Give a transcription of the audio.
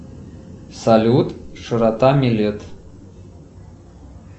салют широта милет